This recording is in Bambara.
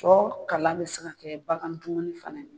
Tɔ kalan bɛ se ka kɛ bagandumuni fana ye.